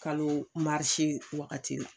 Kalo marise wagati la